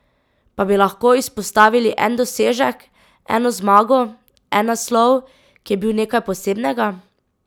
Pa bi lahko izpostavili en dosežek, eno zmago, en naslov, ki je bil nekaj posebnega?